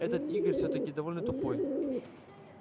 этот игорь всё-таки довольно тупой